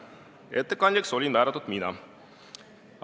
Ettekandjaks olin määratud mina.